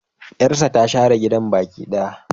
Yarsa ta share gidan baki daya.